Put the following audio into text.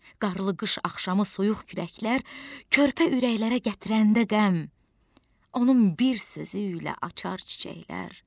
Qarlı qış axşamı soyuq küləklər körpə ürəklərə gətirəndə qəm, onun bir sözü ilə açar çiçəklər.